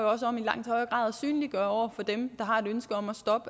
også om i langt højere grad at synliggøre over for dem der har et ønske om